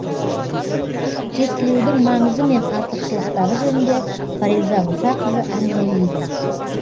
тестілеудің маңызы мен артықшылықтары жөнінде фариза мұсақызы әңгімелейді